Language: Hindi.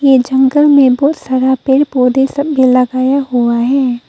ये जंगल में बहुत सारा पेड़ पौधे सब भी लगाया हुआ हैं।